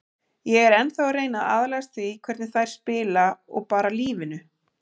Ég er ennþá að reyna að aðlagast því hvernig þær spila og bara lífinu.